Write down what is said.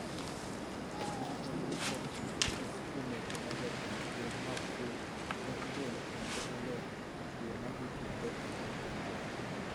ne odwoko moko kuom weche ma Jatend piny Magufuli ne ogolo kendo olero yo ma itiyogo e piny Tanzania